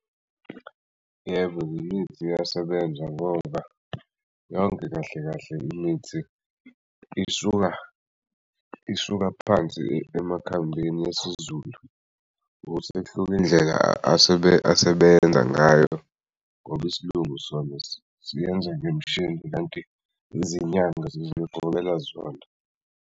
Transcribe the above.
Yebo imithi iyasebenza ngoba yonke kahle kahle imithi isuka isuka phansi emakhambini esiZulu ukuthi indlela asebenza ngayo ngoba isilungu sona siyenza ngemishini kanti izinyanga zizigobela zona.